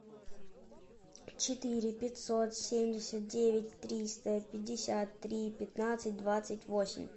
четыре пятьсот семьдесят девять триста пятьдесят три пятнадцать двадцать восемь